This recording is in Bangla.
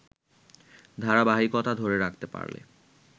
ধারাবাহিকতা ধরে রাখতে পারলে